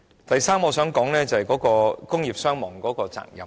第三，我想談談工業傷亡的責任。